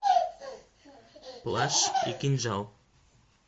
плащ и кинжал